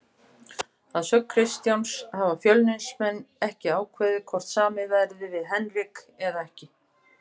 Að sögn Kristjáns hafa Fjölnismenn ekki ákveðið hvort samið verði við Henrik eða ekki.